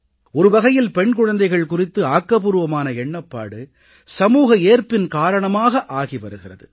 ஒரு வகையில் பெண் குழந்தைகள் குறித்து ஆக்கபூர்வமான எண்ணப்பாடு சமூக ஏற்பின் காரணமாக ஆகி வருகிறது